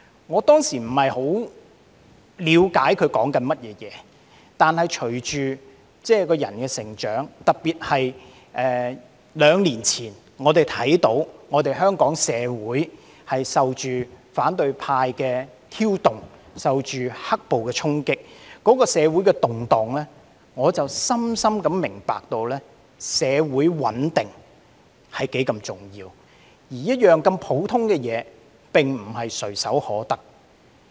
"我當時不太了解他在說甚麼，但隨着個人的成長，特別在兩年前，我們看到香港社會受到反對派的挑動，受到"黑暴"的衝擊，那時社會的動盪，令我深深明白社會穩定是多麼重要，而這麼普通的一件事情，也並非唾手可得。